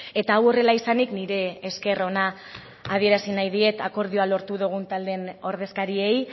eta hau horrela izanik nire esker ona adierazi nahi diet akordioa lortu dugun taldeen ordezkariei